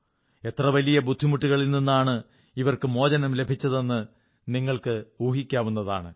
എത്ര വലിയ ബുദ്ധിമുട്ടുകളിൽ നിന്നാണ് ഇവർക്ക് മോചനം ലഭിച്ചതെന്ന് നിങ്ങൾക്ക് ഊഹിക്കാവുന്നതാണ്